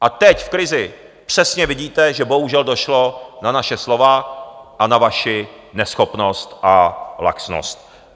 A teď v krizi přesně vidíte, že bohužel došlo na naše slova a na vaši neschopnost a laxnost.